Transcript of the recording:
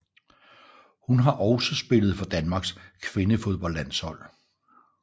Hun har også spillet for Danmarks kvindefodboldlandshold